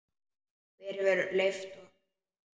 Hver hefur leyft ykkur þetta?